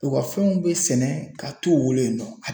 U ka fɛnw be sɛnɛ ka t'u bolo yen nɔ